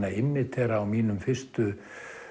að immítera á mínum fyrstu